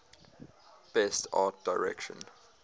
best art direction